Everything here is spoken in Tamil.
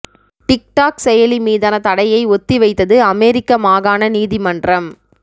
டிக் டாக் செயலி மீதான தடையை ஒத்திவைத்தது அமெரிக்க மாகாண நீதிமன்றம்